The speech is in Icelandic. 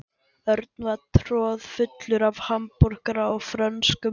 Örn var troðfullur af hamborgara og frönskum.